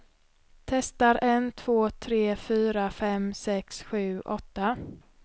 Testar en två tre fyra fem sex sju åtta.